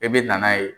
E bɛ na n'a ye